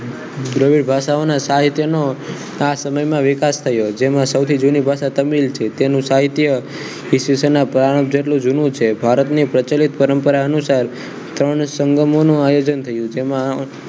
દ્રીવી ભાષાઓના સાહિત્યનો આ સમયમાં વિકાસ થયો જેમાં સૌથી જૂની ભાષા તમિલ છે તેનું સાહિત્ય ઈસવીસનોના પુરાણો જેટલું જૂનું છે ભારતની પ્રચલિત પરંપરા અનુસાર ત્રણ સંગમોનો આયોજન થયું જેમાં